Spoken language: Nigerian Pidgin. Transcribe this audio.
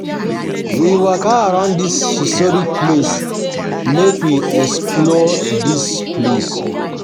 We waka round di historic place make we explore di place.